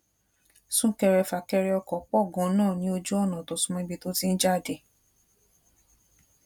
sunkerefakere oko pò ganan ní ojú ònà tó sún mó ibi tó ti ń jáde